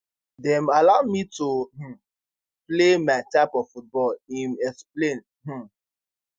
dem allow me to um play my type of football im explain um